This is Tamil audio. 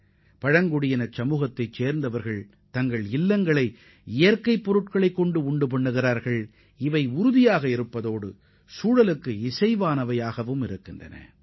அத்துடன் பழங்குடியின மக்கள் வலுவான சுற்றுச்சூழலுக்கு உகந்த இயற்கைப் பொருட்களைக் கொண்டே தங்களது வசிப்பிடங்களையும் அமைத்துக் கொள்கின்றனர்